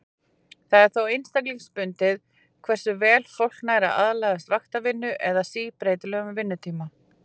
Það er þó einstaklingsbundið hversu vel fólk nær að aðlagast vaktavinnu eða síbreytilegum vinnutíma.